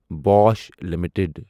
Bosch limited